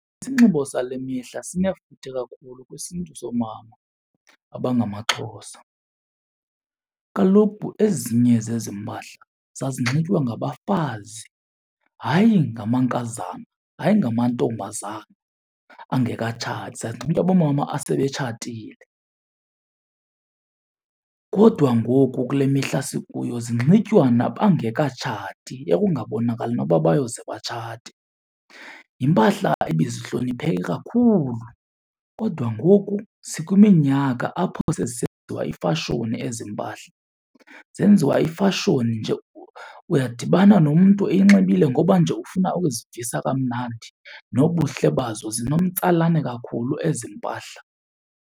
Isinxibo sale mihla sinefuthe kakhulu kwisiNtu somama abangamaXhosa. Kaloku ezinye zezi mpahla zazinxitywa ngabafazi hayi ngamankazana, hayi ngamantombazana angekatshati. Zazinxitywa boomama asebetshatile, kodwa ngoku kule mihla sikuyo zinxitywa nabangekatshati ekungabonakali noba bayoze batshate. Yimpahla ebezihlonipheke kakhulu kodwa ngoku sikwiminyaka apho sezisenziwa ifashoni ezi mpahla, zenziwa ifashoni nje. Uyadibana nomntu eyinxibile ngoba nje ufuna ukuzivisa kamnandi, nobuhle bazo zinomtsalane kakhulu ezi mpahla.